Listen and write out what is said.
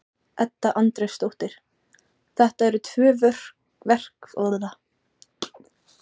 Edda Andrésdóttir: Þetta eru tvö verk ekki satt Þorbjörn?